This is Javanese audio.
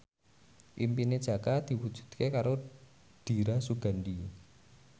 impine Jaka diwujudke karo Dira Sugandi